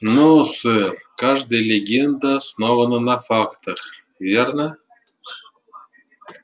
но сэр каждая легенда основана на фактах верно